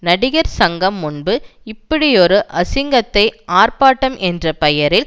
நடிகர் சங்கம் முன்பு இப்படியொரு அசிங்கத்தை ஆர்ப்பாட்டம் என்ற பெயரில்